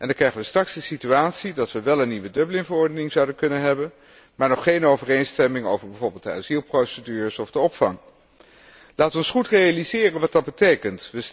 Dan krijgen we straks de situatie dat we wel een nieuwe Dublin verordening zouden kunnen hebben, maar nog geen overeenstemming over bijvoorbeeld de asielprocedures of de opvang. Laten we ons goed realiseren wat dat betekent.